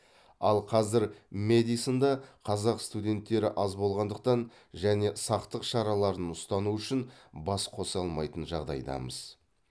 ал қазір мэдисонда қазақ студенттері аз болғандықтан және сақтық шараларын ұстану үшін бас қоса алмайтын жағдайдамыз